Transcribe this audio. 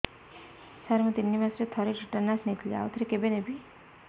ସାର ମୁଁ ତିନି ମାସରେ ଥରେ ଟିଟାନସ ନେଇଥିଲି ଆଉ ଥରେ କେବେ ନେବି